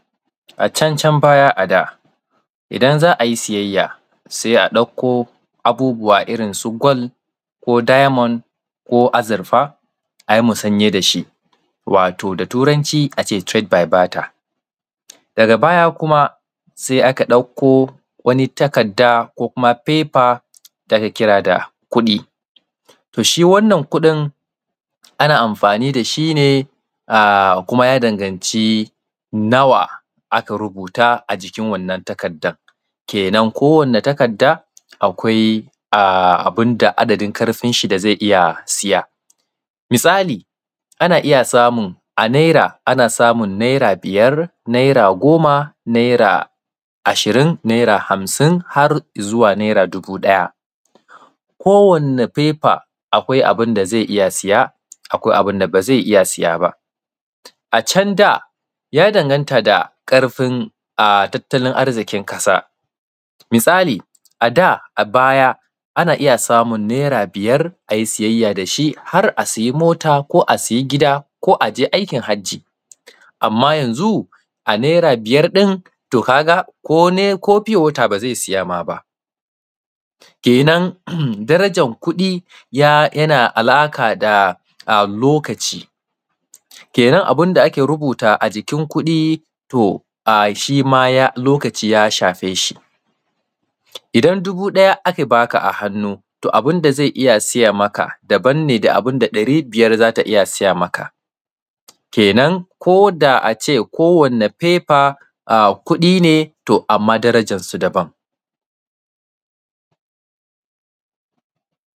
A can can baya a da idan za a yi siyayya sai a ɗauko abubuwa irin su gold ko diamond ko azurfa a yi musanye da shi wato da Turanci a ce trade by bater, daga baya kuma sai aka ɗauko wani takadda ko kuma paper da ake kira da kuɗi to shi kuɗin ana amfani da shi ne kuma ya danganci nawa aka rubuta a jikin wannamn. Takaddan kenan kowane takadda akwai adadin ƙarfin shi da zai iya siya misali a naira ana iya samun naira biyar, naira goma, naira ashirin, naira hamsin har izuwa naira dubu ɗaya, kowane paper akwai abun da zai iya saya, akwai abun da ba zai iya siya ba. A can da ya danganta da yanayin ƙarfin tattalin arzikin ƙasa misali a da ana iya samun naira biyar a yi sayayya da shi har a sai mota ko a sayi gida ko aje aikin hajji, amma yanzu a naira biyar ɗin ka ga ko pure water ba zai saima ba, kenan darajan kuɗi yana da alaƙa da lokaci kenan abun da aka rubuta a jikin kuɗi to shi ma lokaci ya shafe shi idan dubu ɗaya aka ba ka a hannu to abun da zai iya siya maka daban ne da abun da ɗari biyar zai iya saya maka, kenan ko da a ce ko wane paper kuɗi to amma darajan su daban.